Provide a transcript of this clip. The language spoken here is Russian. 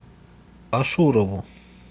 ашурову